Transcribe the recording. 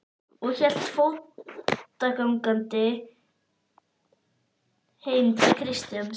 og hélt fótgangandi heim til Kjartans.